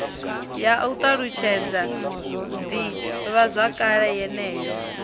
ya u ṱalutshedza ḓivhazwakale yeneyo